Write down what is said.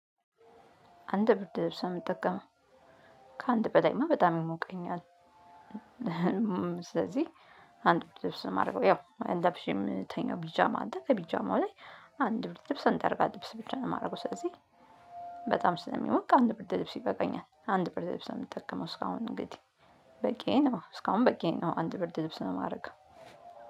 አንድ ብርድ ልብስ ነው የምጠቀመው ከአንድ በላይማ በጣም ይሞቀኛል። ስለዚህ አንድ ብርድ ልብስ ነው የማደርገው ያው አንድ ለብሼ የምተኛው ቢጃማ አለ ቢጃማው ላይ። አንድ ብርድ ልብስ አንድ የአልጋ ልብስ ብቻ ነው የማደርገው ስለዚህ። በጣም ስለሚሞቅ አንድ ብርድ ልብስ ይበቃኛል። አንድ ብርድ ልብስ ነው የምጠቀመው እስካሁን እንግዲህ በቂ ነው። እስካሁን በቂ ነው አንድ ብርድ ልብስ ነው የማደርገው።